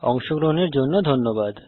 অংশগ্রহনের জন্য ধন্যবাদ